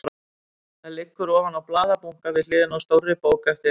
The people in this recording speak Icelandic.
Það liggur ofan á blaðabunka við hliðina á stórri bók eftir